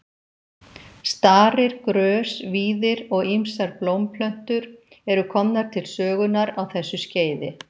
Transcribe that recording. Starir, grös, víðir og ýmsar blómplöntur eru komnar til sögunnar á þessu skeiði.